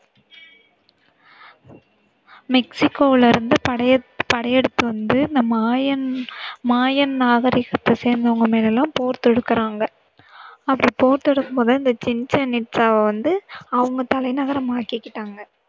மெக்சிகோவுல இருந்து படை படையெடுத்து வந்து இந்த மாயன் மாயன் நாகரிகத்தை சேந்தவங்க மேலயெல்லாம் போர் தொடுக்கறாங்க அப்படி போர் தொடுக்கும் போது இந்த சிச்சென் இட்சாவ வந்து அவங்க தலைநகரம் ஆக்கிகிட்டாங்க.